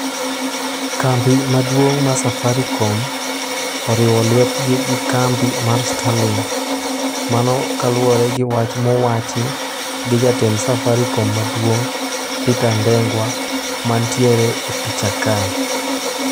Kambi maduong' mar safaricom, oriwo lwetgi gi kambi mar Starlink mano kaluwore gi wach mowachi gi jatend Safaricom maduong' Peter Ndeng'wa mantiere e picha kae.